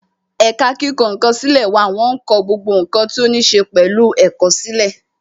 Ẹ̀ka kíkọ ǹkan sílè wà wọn ń kọ gbogbo ǹkan tó ní ṣe pẹ̀lú ẹ̀kọ́ sílè